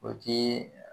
O ti